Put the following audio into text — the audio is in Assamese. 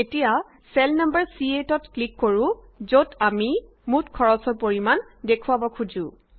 এতিয়া চেল নাম্বাৰ C8 ত ক্লিক কৰো যত আমি মুঠ খৰচৰ পৰিমান দেখুওৱাব খোজো